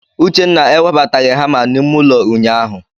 Uchenna ewebataghị hama ahụ n'ime ụlọ ụnyaahụ.